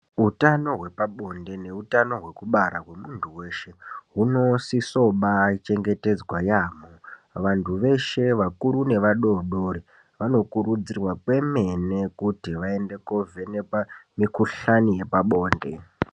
Utano hwepabonde neutano hwekubara hwemuntu weshe hunosiso baachengetedzwa yaamho. Vantu veshe, vakuru nevadoodori vanokurudzirwa kwemene kuti vaende koovhenekwa mikuhlani yepabonde.